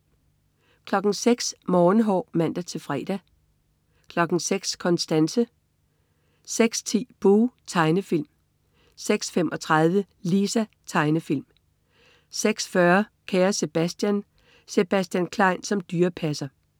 06.00 Morgenhår (man-fre) 06.00 Konstanse (man-fre) 06.10 Buh! Tegnefilm (man-fre) 06.35 Lisa. Tegnefilm (man-fre) 06.40 Kære Sebastian. Sebastian Klein som dyrepasser (man-fre)